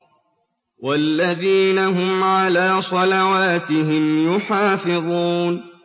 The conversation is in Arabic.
وَالَّذِينَ هُمْ عَلَىٰ صَلَوَاتِهِمْ يُحَافِظُونَ